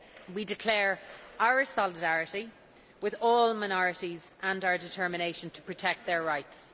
We declare our solidarity with all minorities and our determination to protect their rights.